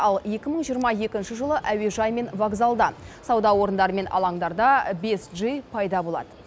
ал екі мың жиырма екінші жылы әуежай мен вокзалда сауда орындары мен алаңдарда бес джи пайда болады